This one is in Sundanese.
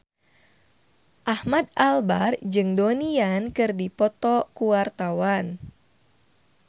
Ahmad Albar jeung Donnie Yan keur dipoto ku wartawan